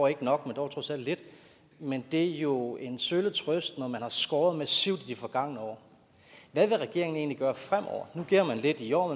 ikke nok men dog trods alt lidt men det er jo en sølle trøst når man har skåret massivt i de forgangne år hvad vil regeringen egentlig gøre fremover nu giver man lidt i år